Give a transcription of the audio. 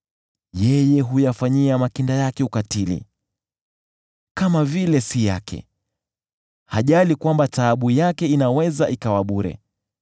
Yeye huyafanyia makinda yake ukatili kama vile si yake; hajali kwamba taabu yake inaweza ikawa bure,